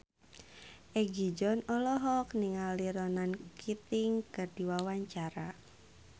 Egi John olohok ningali Ronan Keating keur diwawancara